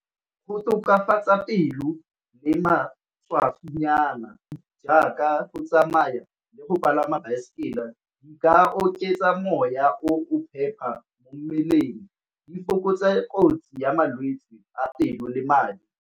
Go tokafatsa pelo le matshwafonyana jaaka go tsamaya le go palama baesekele di ka oketsa moya o phepa mo mmeleng di fokotsa kotsi ya malwetsi a pelo le madi.